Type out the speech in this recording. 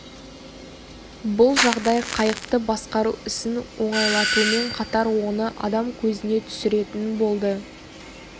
бұл жағдай қайықты басқару ісін оңайлатумен қатар оны адам көзіне түсіретін болды